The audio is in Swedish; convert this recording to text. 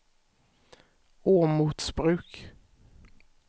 Åmotsbruk